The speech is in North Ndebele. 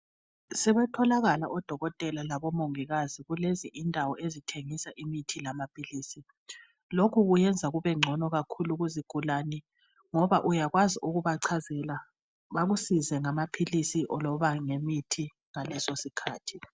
Sebetholakala omongikazi labodokotela endaweni lezi ezithengisa imithi lamaphilisi. Lokhu kuyenza kubengcono kakhulu kuzigulane ngoba uyakwazi ukubachazela bakusize ngamaphilisi loba ngemithi ngaleso sikhathi.